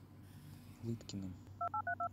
лыткиным